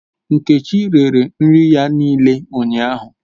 Nkechi rere nri ya niile ụnyahụ